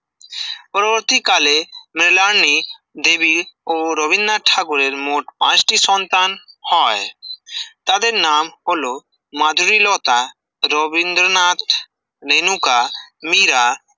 প্রতিকালে মৃণালিনী দেবীর ও রবীন্দ্রনাথ ঠাকুরের মোট পাঁচটি সন্তান হয় তাদের নাম হল মাধুরীলতা, রবীন্দ্রনাথ, রেনুকা, মীরা,